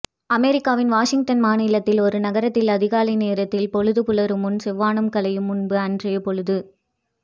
அமெரிக்காவின் வாஷிங்டன் மாநிலத்தில் ஒரு நகரத்தில் அதிகாலை நேரத்தில் பொழுதுபுலரும் முன் செவ்வானம் கலையும் முன்பு அன்றைய பொழுது